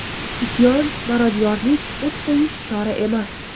Isyon, marodyorlik, o‘t qo‘yish chora emas.